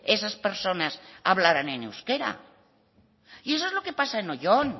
esas personas hablarán en euskera y eso es lo que pasa en oyón